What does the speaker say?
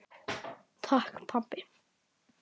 Takk, pabbi.